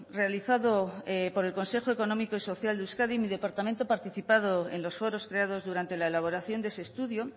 realizado por el consejo económico y social de euskadi mi departamento ha participado en los foros creados durante la elaboración de ese estudio